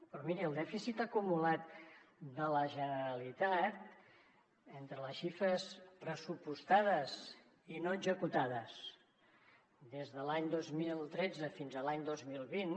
però miri el dèficit acumulat de la generalitat entre les xifres pressupostades i no executades des de l’any dos mil tretze fins a l’any dos mil vint